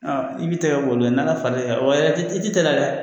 I bi tɛgɛ ko ni Ala fara l'i kan, Wa i tɛ teliya dɛ.